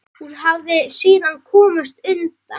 Hún hafi síðan komist undan.